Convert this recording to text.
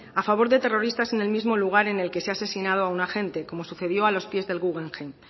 a favor de terroristas en el mismo lugar en el que se ha asesinado a un agente como sucedió a los pies del guggenheim